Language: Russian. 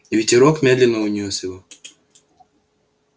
ветерок медленно унёс его